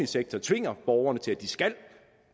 sektor tvinger borgerne til at